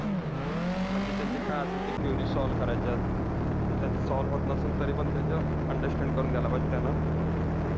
म्हणजे त्यांचे काय असेल ते queries solve करायच्या. आणि त्या जर solve होत नसतील, तरी पण त्यांच्या understand करून घ्यायला पाहिजे त्यांना.